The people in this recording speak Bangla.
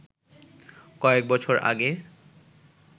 কয়েক বছর আগে